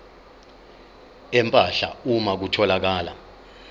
empahla uma kutholakala